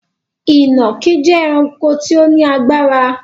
Ìnàkí jẹ ẹranko tí ó ní agbára